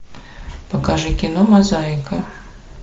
покажи кино мозаика